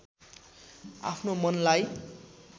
आफ्नो मनलाई